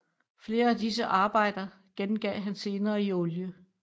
Flere af disse arbejder gengav han senere i olie